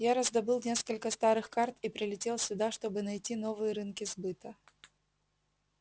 я раздобыл несколько старых карт и прилетел сюда чтобы найти новые рынки сбыта